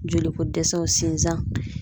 Joli ko dɛsɛw, sinzan